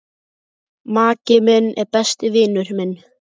Maki minn er besti vinur minn.